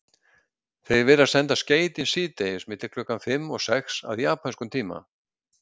Þeir virðast senda skeytin síðdegis milli klukkan fimm og sex að japönskum tíma.